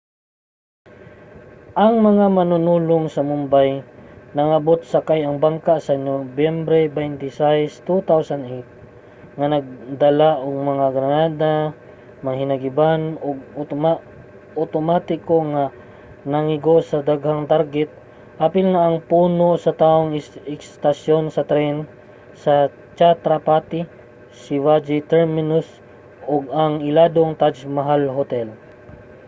ang mga manunulong sa mumbai nangabot sakay ang bangka sa nobyembre 26 2008 nga dala ang mga granada mga hinagiban nga otomatiko ug nangigo sa mga daghang target apil na ang puno sa tawong estasyon sa tren sa chhatrapati shivaji terminus ug ang iladong taj mahal hotel